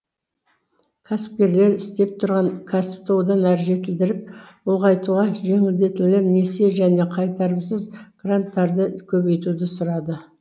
кәсіпкерлер істеп тұрған кәсіпті одан әрі жетілдіріп ұлғайтуға жеңілдетілген несие және қайтарымсыз гранттарды көбейтуді сұрады